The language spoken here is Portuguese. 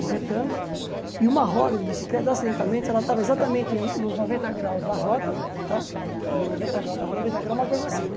um retângulo, e uma roda de bicicleta, acidentemente, ela estava exatamente nos noventa graus da roda, tá nos noventa graus, noventa graus é uma coisa assim, né?